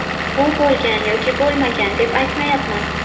Bu bo‘lgan yoki bo‘lmagan deb aytmayapman.